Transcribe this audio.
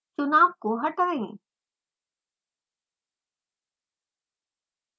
चुनाव को हटाएँ